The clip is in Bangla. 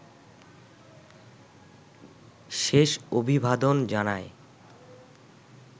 শেষ অভিবাদন জানায়